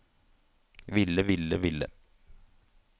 ville ville ville